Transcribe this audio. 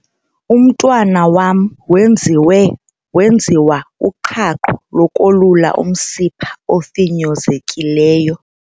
Umntwana wam wenziwe wenziwa uqhaqho lokolula umsimpha ofinyezekileyo.